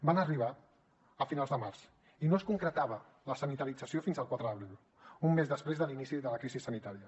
van arribar a finals de març i no es concretava la sanitarització fins al quatre d’abril un mes després de l’inici de la crisi sanitària